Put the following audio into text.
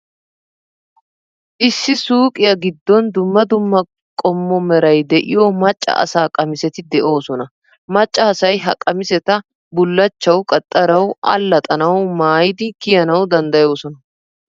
Issi suuqiyaa giddon dumma dumma qommo meray de'iyoo macca asaa qamiseti de'oosona. Macca asay ha qamiseta, bullachchawu, qaxxarawu, allaxxanawu, maayidi kiyanawu danddayoosona.